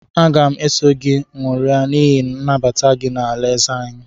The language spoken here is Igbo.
Aga m eso gị nwụria n’ihi mbata gị n’alaeze anyị